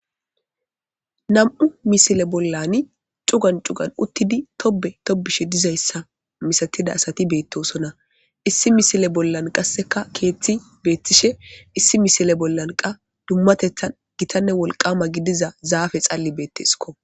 Nam'u misile bollan cugan cugan uttidi tobe tobishe dizayssa misatida asati beettoosona issi misile bollan qasseka keeththi beettishe issi misile bollan qa dummatethan gitanne wolqama gidiza zaafe xalli beetteesko.